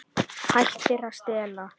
Hættir að stela.